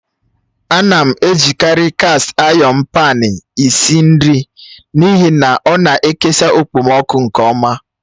A na-ejikarị kast ayọn paan esi ísì nri n'ihi na ọna ikesa okpomọkụ nke ọma